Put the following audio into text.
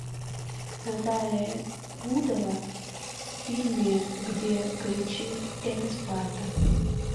наталья рудова в фильме где кричит эта спарта